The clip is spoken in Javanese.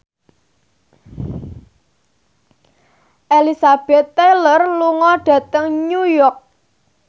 Elizabeth Taylor lunga dhateng New York